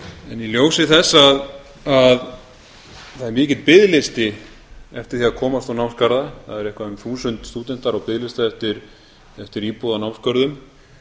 en í ljósi þess að það er mikill biðlisti eftir því að komast á námsgarða það eru eitthvað um þúsund stúdentar á biðlista eftir íbúð á námsgörðum